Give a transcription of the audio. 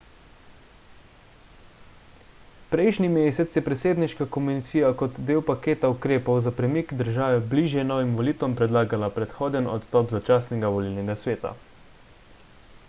prejšnji mesec je predsedniška komisija kot del paketa ukrepov za premik države bližje novim volitvam predlagala predhoden odstop začasnega volilnega sveta